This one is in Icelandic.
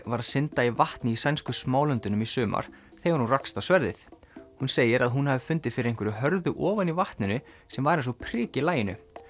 var að synda í vatni í sænsku Smálöndunum í sumar þegar hún rakst á sverðið hún segir að hún hafi fundið fyrir einhverju hörðu ofan í vatninu sem var eins og prik í laginu